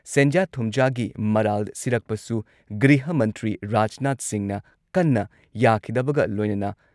ꯁꯦꯟꯖꯥ-ꯊꯨꯝꯖꯥꯒꯤ ꯃꯔꯥꯜ ꯁꯤꯔꯛꯄꯁꯨ ꯒ꯭ꯔꯤꯍ ꯃꯟꯇ꯭ꯔꯤ ꯔꯥꯖꯅꯥꯊ ꯁꯤꯡꯍꯅ ꯀꯟꯅ ꯌꯥꯈꯤꯗꯕꯒ ꯂꯣꯏꯅꯅ